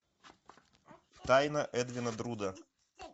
тайна эдвина друда